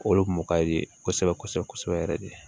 Olu kun mɔ ka di kosɛbɛ kosɛbɛ kosɛbɛ yɛrɛ de